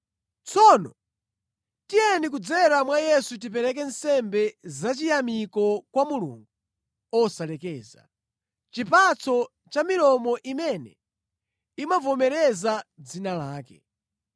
Tsono, tiyeni kudzera mwa Yesu tipereke nsembe zachiyamiko kwa Mulungu osalekeza, chipatso cha milomo imene imavomereza dzina lake.